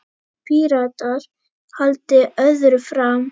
Píratar haldi öðru fram.